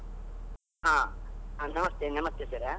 ಹ, ನಮಸ್ತೆ ನಮಸ್ತೆ sir .